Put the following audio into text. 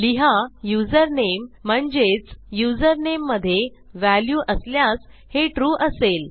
लिहा युझरनेम म्हणजेच युझरनेम मधे व्हॅल्यू असल्यास हे ट्रू असेल